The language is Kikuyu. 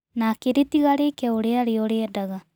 Na akĩrĩtiga rĩke ũrĩa rĩo rĩendaga.